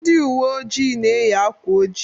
Ndị ụwe ojii na-eyị akwa ojii.